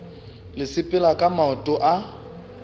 le sepela ka maoto a